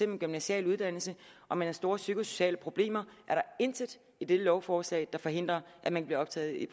en gymnasial uddannelse og man har store psykosociale problemer er der intet i dette lovforslag der forhindrer at man bliver optaget i